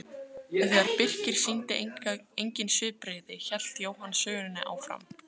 En þegar Birkir sýndi engin svipbrigði hélt Jóhann sögunni áfram